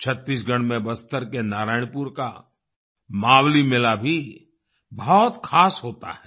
छत्तीसगढ़ में बस्तर के नारायणपुर का मावली मेला भी बहुत खास होता है